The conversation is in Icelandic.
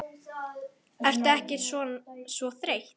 Ertu ekkert svo þreytt?